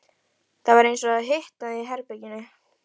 Það var eins og það hitnaði í herberginu.